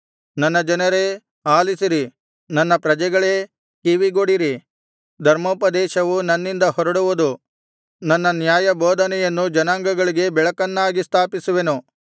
ನನ್ನ ಜನರೇ ಆಲಿಸಿರಿ ನನ್ನ ಪ್ರಜೆಗಳೇ ಕಿವಿಗೊಡಿರಿ ಧರ್ಮೋಪದೇಶವು ನನ್ನಿಂದ ಹೊರಡುವುದು ನನ್ನ ನ್ಯಾಯಬೋಧನೆಯನ್ನು ಜನಾಂಗಗಳಿಗೆ ಬೆಳಕನ್ನಾಗಿ ಸ್ಥಾಪಿಸುವೆನು